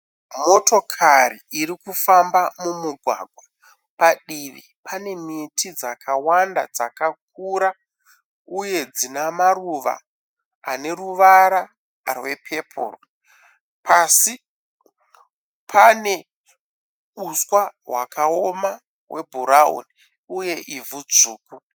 Motokari iri kufamba mumugwagwa. Padivi pane miti dzakawanda, dzakakura uye dzine maruva ane ruvara rwepepuru. Pasi pane uswa hwakaoma hwebhurauni uye ivhu dzvuku.